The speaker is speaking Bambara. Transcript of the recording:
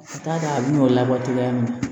Ka d'a kan a bɛ n'o labɔ cogoya min na